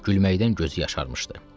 Gülməkdən gözü yaşarmışdı.